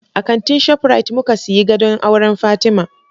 A kantin Shaprit muka siyi gadon auran Fatima